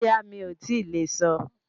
Bóyá, mi ò tíì lè sọ